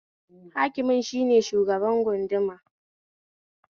Hakimin shine shugabar gunduma